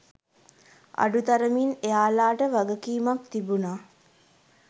අඩුතරමින් එයාලාට වගකීමක් තිබුණා